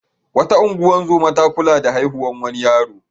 Wata ungozoma ta kula da haihuwar wani yaro.